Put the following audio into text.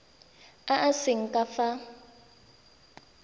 a a seng ka fa